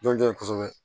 Jɔn jɔn ye kosɛbɛ